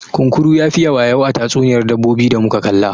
Kunkuru ya fiye wayau a tatsuniyar dabbobi da muka kalla.